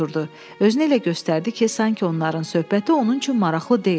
Özünü elə göstərdi ki, sanki onların söhbəti onun üçün maraqlı deyil.